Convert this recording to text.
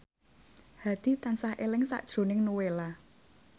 Hadi tansah eling sakjroning Nowela